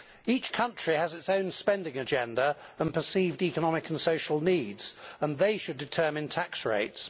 Each country has its own spending agenda and perceived economic and social needs, and it is they who should determine tax rates.